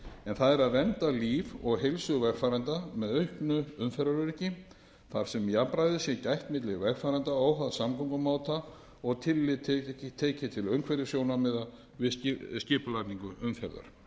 það að vernda líf og heilsu vegfarenda með auknu umferðaröryggi þar sem jafnræðis sé gætt milli vegfarenda óháð samgöngumáta og tillit tekið til umhverfissjónarmiða við skipulagningu umferðar